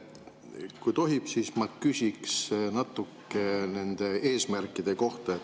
Kui tohib, siis ma küsin natuke nende eesmärkide kohta.